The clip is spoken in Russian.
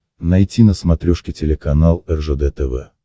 найти на смотрешке телеканал ржд тв